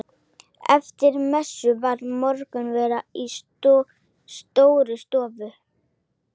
Eftir messu var morgunverður í Stórustofu.